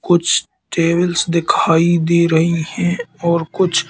कुछ टेबल्स दिखाई दे रहीं हैं और कुछ--